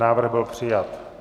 Návrh byl přijat.